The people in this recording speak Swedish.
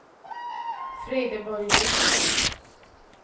Frideborg Ring